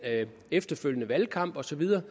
efterfølgende valgkamp og så videre